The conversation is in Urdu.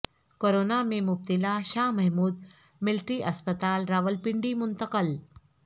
کورونا میں مبتلا شاہ محمود ملٹری اسپتال راولپنڈی منتقل